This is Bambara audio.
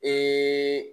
Ee